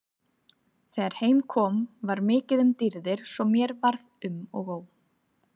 Þegar heim kom var mikið um dýrðir svo mér varð um og ó.